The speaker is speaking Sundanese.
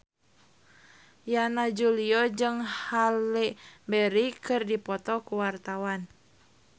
Yana Julio jeung Halle Berry keur dipoto ku wartawan